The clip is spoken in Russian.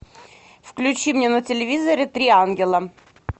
включи мне на телевизоре три ангела